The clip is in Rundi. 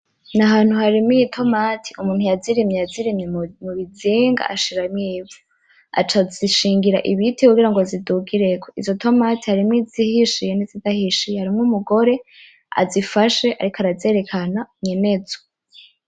Ni ahantu harimiye itomati umuntu yazirimye yazirimye mu bizinga ashiramwo ivu aca azishingira ibiti kugira ngo zidugireko izo tomate harimwo izihishiye nizidahishiye harimwo umugore azifashe ariko arazerekana nyenezo .